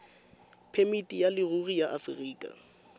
phemiti ya leruri ya aforika